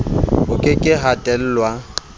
ho ke ke ha tellwa